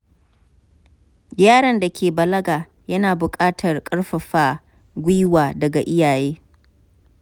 Yaron da ke balaga yana buƙatar ƙarfafa gwiwa daga iyaye.